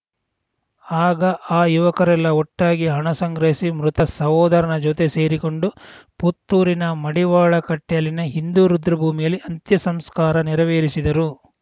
ಆಗ ಆ ಯುವಕರೆಲ್ಲಾ ಒಟ್ಟಾಗಿ ಹಣ ಸಂಗ್ರಹಿಸಿ ಮೃತ ಸಹೋದರನ ಜೊತೆ ಸೇರಿಕೊಂಡು ಪುತ್ತೂರಿನ ಮಡಿವಾಳ ಕಟ್ಟೆಯಲ್ಲಿನ ಹಿಂದೂ ರುದ್ರಭೂಮಿಯಲ್ಲಿ ಅಂತ್ಯಸಂಸ್ಕಾರ ನೆರವೇರಿಸಿದರು